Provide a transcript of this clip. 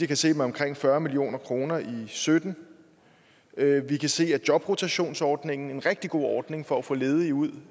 kan set med omkring fyrre million kroner i og sytten vi kan se at jobrotationsordningen en rigtig god ordning for at få ledige ud